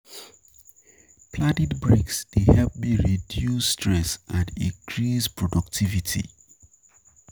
Planning breaks dey help me reduce stress and increase productivity.